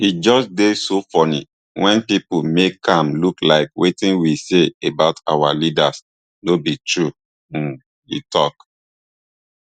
e just dey so funny wen pipo make am look like wetin we say about our leaders no be true um e tok